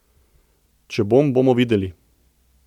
Če bom, bomo videli.